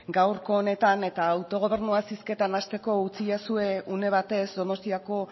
gaurko honetan eta autogobernuaz hizketan hasteko utzidazue une batez donostiako